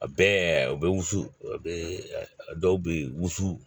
A bɛɛ u bɛ wusu o bɛ dɔw bɛ wusu